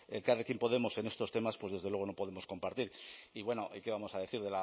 elkarrekin podemos en estos temas pues desde luego no podemos compartir y bueno y que vamos a decir